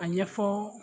A ɲɛfɔ